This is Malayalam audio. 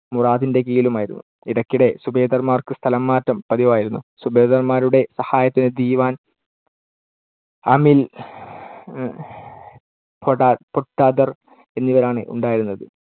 മുറാദിന്‍ടെ കീഴിലും ആയിരുന്നു. ഇടക്കിടെ സുബേദാർമാർക്ക് സ്ഥലമാറ്റവും പതിവായിരുന്നു. സുബേദാർമാരുടെ സഹായത്തിന് ദിവാൻ, അമിൽ, കൊട~ പൊട്ടധർ എന്നിവരാണ് ഉണ്ടായിരുന്നത്.